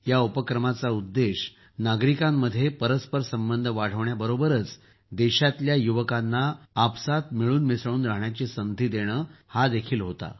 या पुढाकाराचा उद्देष्य नागरिकांमध्ये परस्पर संबंध वाढवण्याबरोबरच देशातील युवकांना आपसात मिळून मिसळून रहाण्याची संधी देणं हाही होता